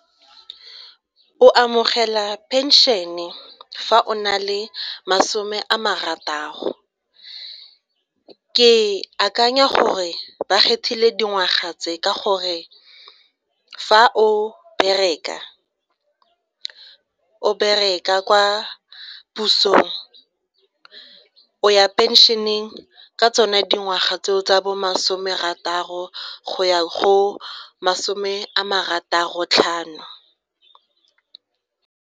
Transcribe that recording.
O amogela phenšene fa o na le masome a marataro. E akanya gore ba kgethile dingwaga tse ka gore fa o bereka kwa pusong o ya phenšheneng ka tsone dingwaga tseo tsa bo masomerataro go ya go masome a marataro tlhano.